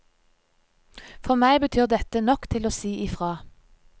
For meg betyr dette nok til å si ifra.